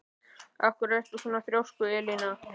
Af hverju ertu svona þrjóskur, Elíana?